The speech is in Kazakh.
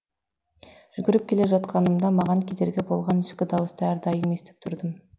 жүгіріп келе жатқанымда маған кедергі болған ішкі дауысты әрдайым естіп тұрдым